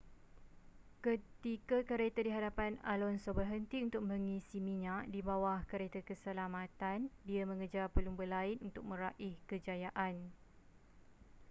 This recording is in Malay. ketika kereta di hadapan alonso berhenti untuk mengisi minyak di bawah kereta keselamatan dia mengejar pelumba lain untuk meraih kejayaan